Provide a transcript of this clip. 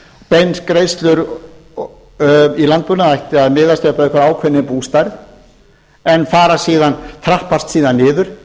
beingreiðslur í landbúnaði ættu að miðast við einhverja ákveðna bústærð en trappast síðan niður